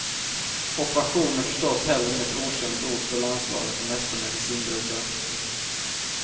Operation är förstås heller inget okänt ord för landslagets meste medicinbrukare.